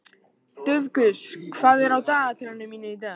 Dufgus, hvað er á dagatalinu mínu í dag?